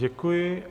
Děkuji.